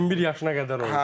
21 yaşına qədər olsa.